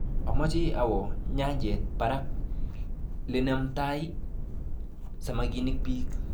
Ameche awo nyanjet baker lenamtai samakinik bik.